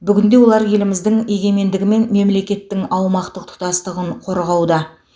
бүгінде олар еліміздің егемендігі мен мемлекеттің аумақтық тұтастығын қорғауда